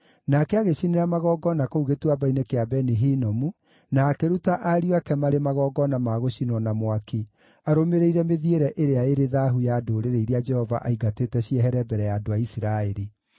Nake agĩcinĩra magongona kũu Gĩtuamba-inĩ kĩa Beni-Hinomu, na akĩruta ariũ ake marĩ magongona ma gũcinwo na mwaki, arũmĩrĩire mĩthiĩre ĩrĩa ĩrĩ thaahu ya ndũrĩrĩ iria Jehova aaingatĩte ciehere mbere ya andũ a Isiraeli.